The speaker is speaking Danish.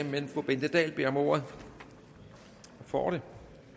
men fru bente dahl beder om ordet og får det